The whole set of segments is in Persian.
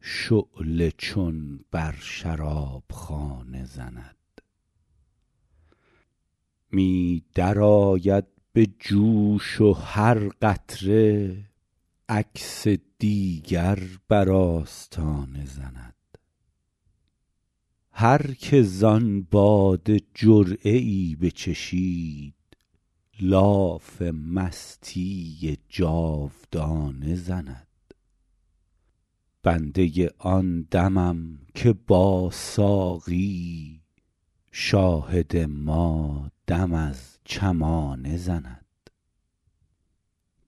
شعله چون بر شرابخانه زند می درآید به جوش و هر قطره عکس دیگر بر آستانه زند هر که زان باده جرعه ای بچشید لاف مستی جاودانه زند بنده آن دمم که با ساقی شاهد ما دم از چمانه زند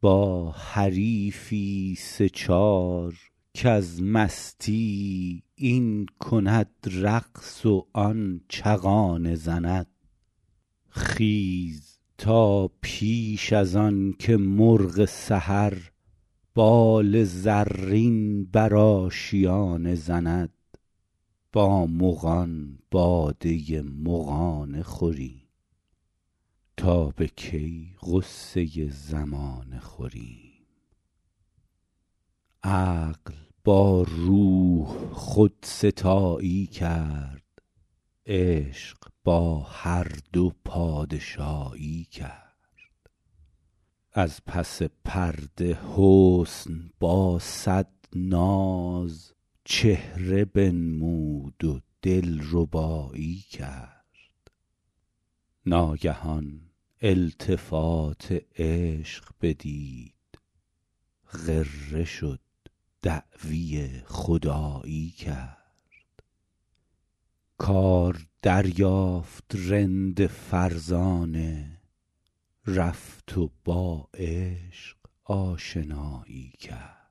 با حریفی سه چار کز مستی این کند رقص و آن چغانه زند خیز تا پیش از آنکه مرغ سحر بال زرین بر آشیانه زند با مغان باده مغانه خوریم تا به کی غصه زمانه خوریم عقل با روح خودستایی کرد عشق با هر دو پادشایی کرد از پس پرده حسن با صد ناز چهره بنمود و دلربایی کرد ناگهان التفات عشق بدید غره شد دعوی خدایی کرد کار دریافت رند فرزانه رفت و با عشق آشنایی کرد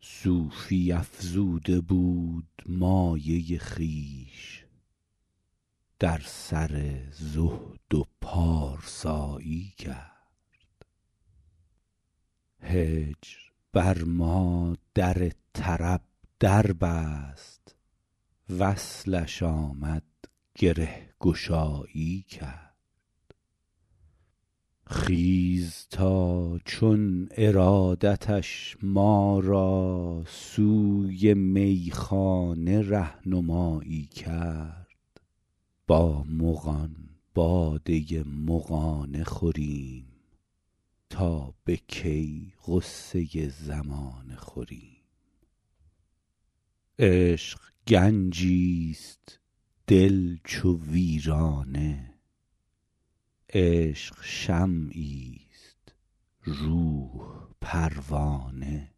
صوفی افزوده بود مایه خویش در سر زهد و پارسایی کرد هجر بر ما در طرب در بست وصلش آمد گره گشایی کرد خیز تا چون ارادتش ما را سوی میخانه ره نمایی کرد با مغان باده مغانه خوریم تا به کی غصه زمانه خوریم عشق گنجیست دل چو ویرانه عشق شمعیست روح پروانه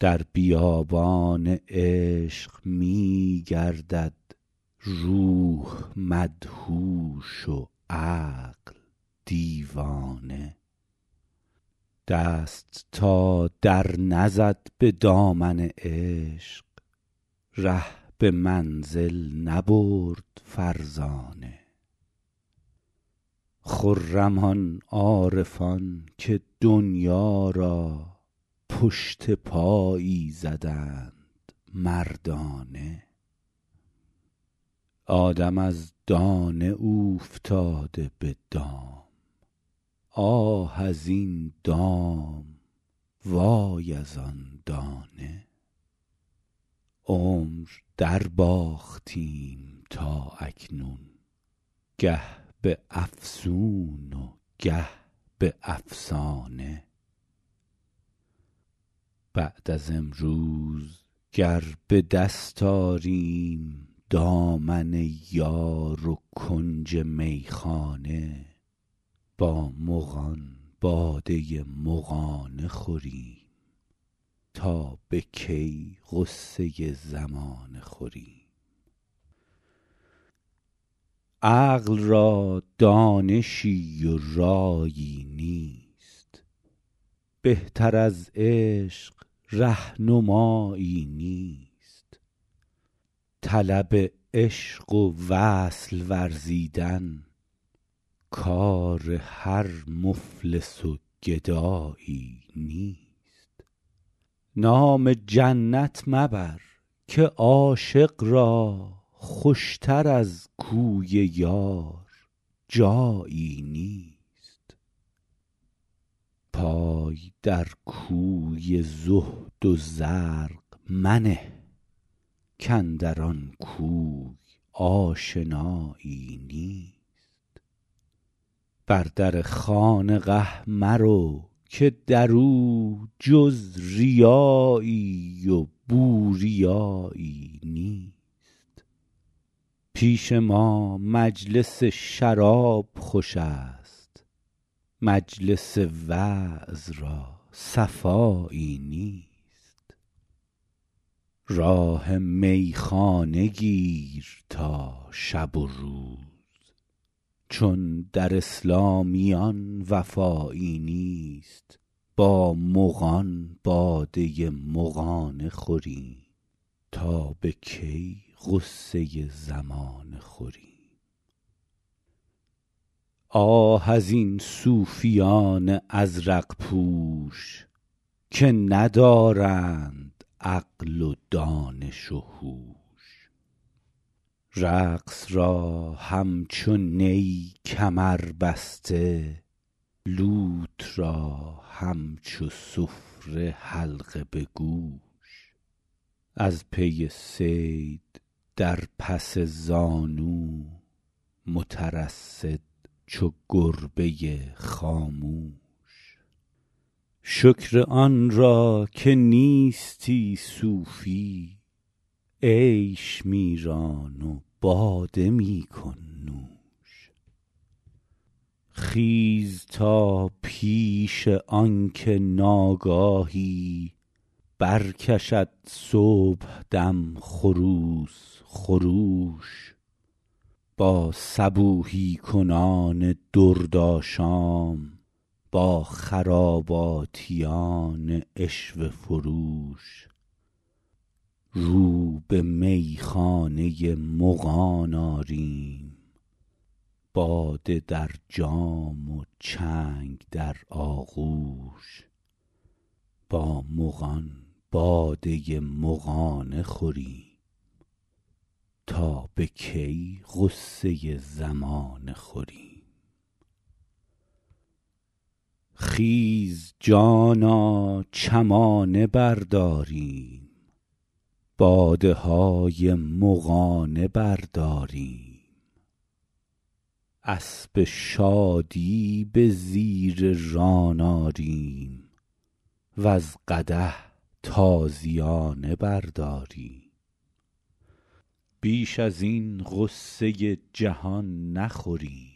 در بیابان عشق میگردد روح مدهوش و عقل دیوانه دست تا در نزد به دامن عشق ره به منزل نبرد فرزانه خرم آن عارفان که دنیا را پشت پایی زدند مردانه آدم از دانه اوفتاده به دام آه از این دام وای از آن دانه عمر در باختیم تا اکنون گه به افسون و گه به افسانه بعد از امروز گر به دست آریم دامن یار و کنج میخانه با مغان باده مغانه خوریم تا به کی غصه زمانه خوریم عقل را دانشی و رایی نیست بهتر از عشق رهنمایی نیست طلب عشق و وصل ورزیدن کار هر مفلس و گدایی نیست نام جنت مبر که عاشق را خوشتر از کوی یار جایی نیست پای در کوی زهد و زرق منه کاندر آن کوی آشنایی نیست بر در خانقه مرو که در او جز ریایی و بوریایی نیست پیش ما مجلس شراب خوشست مجلس وعظ را صفایی نیست راه میخانه گیر تا شب و روز چون در اسلامیان وفایی نیست با مغان باده مغانه خوریم تا به کی غصه زمانه خوریم آه از این صوفیان ازرق پوش که ندارند عقل و دانش و هوش رقص را همچو نی کمر بسته لوت را همچو سفره حلقه بگوش از پی صید در پس زانو مترصد چو گربه خاموش شکر آنرا که نیستی صوفی عیش میران و باده میکن نوش خیز تا پیش آنکه ناگاهی برکشد صبحدم خروس خروش با صبوحی کنان درد آشام با خراباتیان عشوه فروش رو به میخانه مغان آریم باده در جام و چنگ در آغوش با مغان باده مغانه خوریم تا به کی غصه زمانه خوریم خیز جانا چمانه برداریم باده های مغانه برداریم اسب شادی به زیر ران آریم و ز قدح تازیانه برداریم بیش از این غصه جهان نخوریم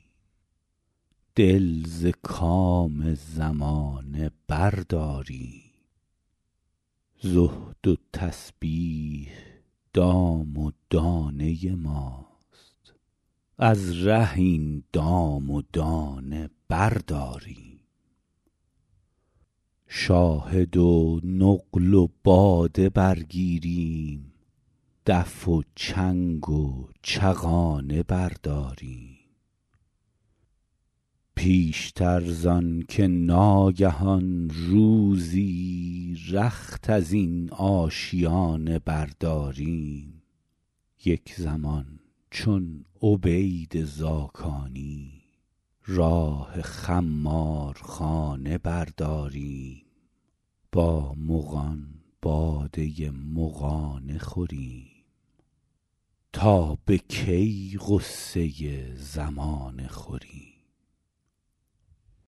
دل ز کام زمانه برداریم زهد و تسبیح دام و دانه ماست از ره این دام و دانه برداریم شاهد و نقل و باده برگیریم دف و چنگ و چغانه برداریم پیشتر زآنکه ناگهان روزی رخت از این آشیانه برداریم یک زمان چون عبید زاکانی راه خمارخانه برداریم با مغان باده مغانه خوریم تا به کی غصه زمانه خوریم